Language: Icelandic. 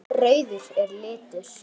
Rauður er litur.